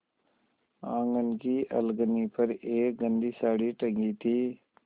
आँगन की अलगनी पर एक गंदी साड़ी टंगी थी